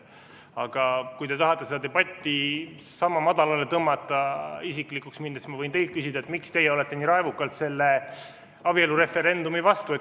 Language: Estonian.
Aga kui te tahate seda debatti madalale tõmmata ja isiklikuks minna, siis ma võin teilt küsida, et miks te olete nii raevukalt abielureferendumi vastu.